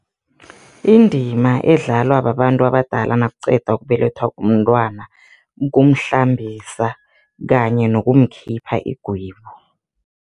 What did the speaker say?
Indima edlalwa babantu abadala nakuqeda ukubelethwa umntwana kumhlambisa kanye nokumkhipha igwebu.